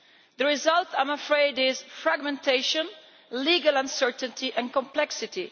The result, I am afraid, is fragmentation, legal uncertainty and complexity.